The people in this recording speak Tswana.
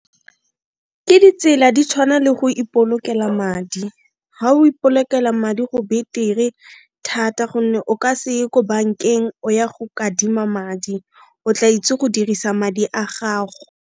Ke ditsela di tshwana le go ipolokela madi, ga o ipolokela madi go betere thata gonne o ka se ye ko bankeng o ya go kadima madi o tla itse go dirisa madi a gago.